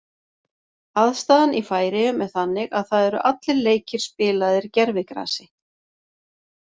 Aðstaðan í Færeyjum er þannig að það eru allir leikir spilaðir gervigrasi.